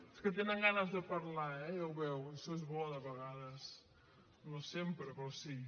és que tenen ganes de parlar eh ja ho veu això és bo de vegades no sempre però sí